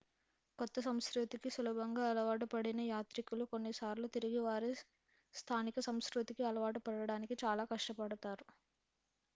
కొత్త సంస్కృతికి సులభంగా అలవాటు పడిన యాత్రికులు కొన్నిసార్లు తిరిగి వారి స్థానిక సంస్కృతికి అలవాటు పడడానికి చాలా కష్టపడతారు